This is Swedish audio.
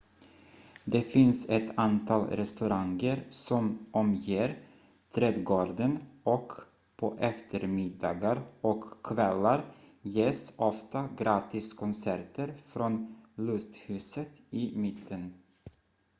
det finns ett antal restauranger som omger trädgården och på eftermiddagar och kvällar ges ofta gratiskonserter från lusthuset i mitten